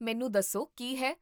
ਮੈਨੂੰ ਦੱਸੋ ਕੀ ਹੈ?